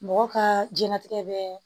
Mɔgɔ kaa jɛnatigɛ bɛɛ